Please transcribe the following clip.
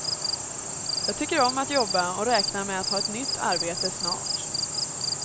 Jag tycker om att jobba och räknar med att ha ett nytt arbete snart.